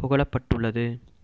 புகழப்பட்டுள்ளது